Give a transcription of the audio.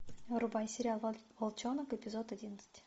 врубай сериал волчонок эпизод одиннадцать